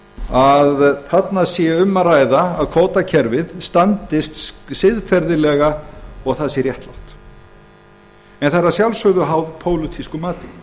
að um sé að ræða að kvótakerfið standist siðferðilega og það sé réttlátt en það er að sjálfsögðu háð pólitísku mati